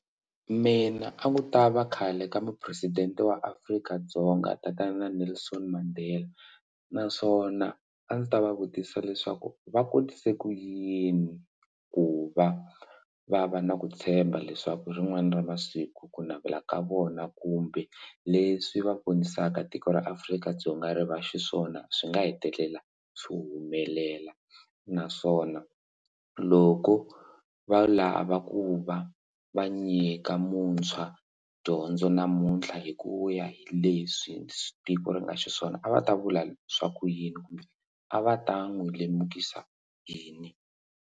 Mina a ni ta va khale ka mupresidente wa Afrika-Dzonga tatana Nelson Mandela naswona a ndzi ta va vutisa leswaku va kotise ku yini ku va va va na ku tshemba leswaku rin'wana ra masiku ku navela ka vona kumbe leswi va vonisaka tiko ra Afrika-Dzonga ri va xiswona swi nga hetelela swi humelela naswona loko va lava ku va va nyika muntshwa dyondzo namuntlha hi ku ya hi leswi tiko ri nga xiswona a va ta vula swa ku yini kumbe a va ta n'wi lemukisa yini.